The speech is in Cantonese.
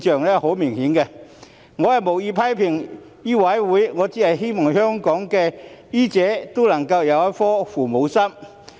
我無意在此批評醫委會，我只希望香港的醫者都能有一顆"父母心"。